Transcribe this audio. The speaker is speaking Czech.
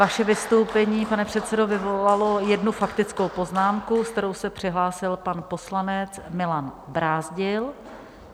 Vaše vystoupení, pane předsedo, vyvolalo jednu faktickou poznámku, se kterou se přihlásil pan poslanec Milan Brázdil.